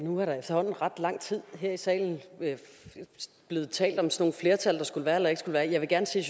nu er der efterhånden i ret lang tid her i salen blevet talt om sådan nogle flertal der skulle være eller ikke skulle være jeg vil gerne sige